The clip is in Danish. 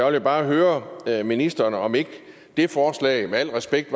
vil bare høre ministeren om ikke det forslag med al respekt